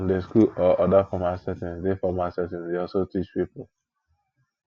sunday school or oda formal settings dey formal settings dey also teach pipo